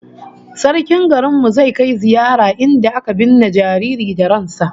Sarkin garin mu zai kai ziyara inda aka binne jariri da ran sa